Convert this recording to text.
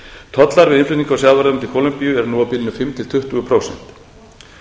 tollar við innflutning á sjávarafurðum til kólumbíu eru nú á bilinu fimm til tuttugu prósent